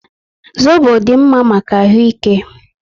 Zobo dị mma maka ahụ ike